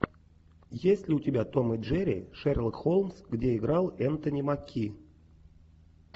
есть ли у тебя том и джерри шерлок холмс где играл энтони маки